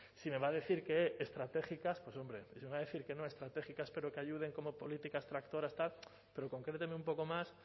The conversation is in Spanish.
si me va a decir que estratégicas hombre iba a decir que no estratégicas pero que ayuden como políticas tractoras tal pero concréteme un poco más